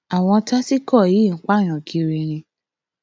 àwọn tásìkò yìí ń pààyàn kiri ni